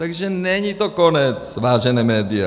Takže není to konec, vážená média.